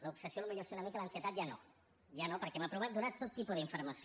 l’obsessió potser sí una mica l’ansietat ja no ja no perquè hem aprovat donar tot tipus d’informació